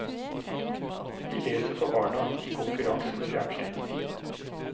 Vi leser for barna, i konkurranse med fjernsynet.